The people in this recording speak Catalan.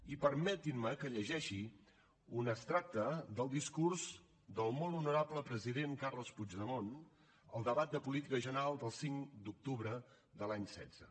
i permetin me que llegeixi un extracte del discurs del molt honorable president carles puigdemont al debat de política general del cinc d’octubre de l’any setze